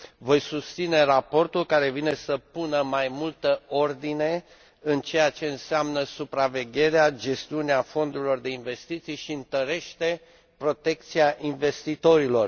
Voi susține raportul, care vine să pună mai multă ordine în ceea ce înseamnă supravegherea gestiunea fondurilor de investiții și întărește protecția investitorilor.